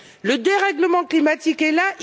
Le dérèglement climatique est là.